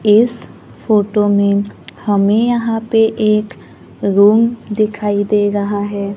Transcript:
इस फोटो में हमें यहां पे एक रूम दिखाई दे रहा है।